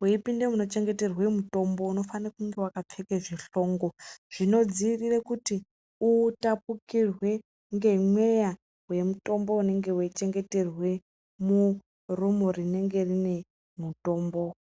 Weipinde munochengeterwe mutombo, unofane kunge wakapfeke zvishongo zvinodziirire kuti utapukirwe ngemweya wemutombo unenge weichengeterwe murumu rinenge rine mutombo.